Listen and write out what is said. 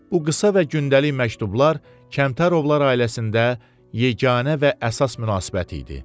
Bu qısa və gündəlik məktublar Kəmtərovlar ailəsində yeganə və əsas münasibət idi.